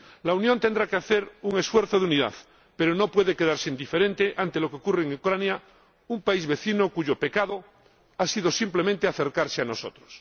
La Unión tendrá que hacer un esfuerzo de unidad, pero no puede quedarse indiferente ante lo que ocurre en Ucrania, un país vecino cuyo pecado ha sido simplemente acercarse a nosotros.